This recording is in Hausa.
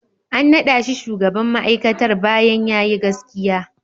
An naɗa shi shugaban ma'aikatar bayan ya yi gaskiya.